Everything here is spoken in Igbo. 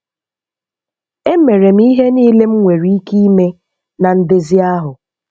Emere m ihe niile m nwere ike ime na ndezi ahụ.